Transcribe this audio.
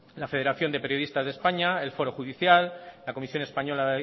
la federación de periodistas de españa el foro judicial la comisión española